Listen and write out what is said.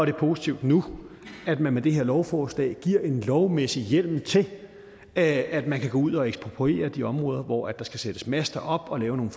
er positivt nu at der med det her lovforslag gives en lovmæssig hjemmel til at man kan gå ud og ekspropriere de områder hvor der skal sættes master op og lave nogle